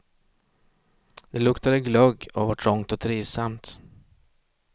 Det luktade glögg och var trångt och trivsamt.